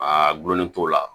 A gulonnen t'o la